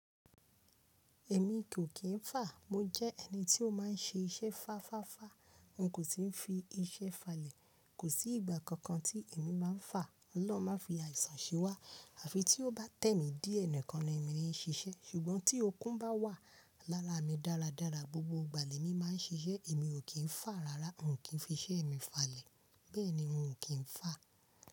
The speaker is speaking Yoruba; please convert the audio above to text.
Èmi kò kí n fà, mo jẹ́ ẹni tí ó má n ṣe iṣẹ́ fá fáfá, n kò si fi iṣẹ́ falẹ̀, kò sí ìgbà kankan tí èmi má n fà, Ọlọ́run má fi àìsàn se wa àfi tí ó bá tẹ́ mi diẹ nìkan ni èmi ní ṣiṣẹ́ ṣùgbọ́n tí okun bá wà lára mi dáradára gbogbo ìgbà ni èmi má n ṣiṣẹ́ èmi ò kí n fà rárá n kò fi iṣẹ́ mi falẹ̀, bẹ́ẹ̀ni n kò kí n fà.